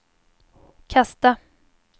kasta